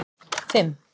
fimm